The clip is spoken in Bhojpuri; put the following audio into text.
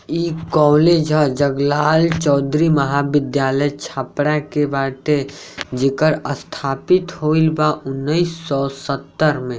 इ कॉलेज ह जगलाल चौधरी महाविद्यालय छपरा के बाटे जकर स्थापित होइल बा उन्नीस सौ सत्तर मे।